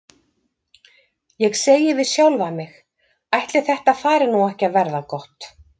Ég segi við sjálfa mig: Ætli þetta fari nú ekki að verða gott?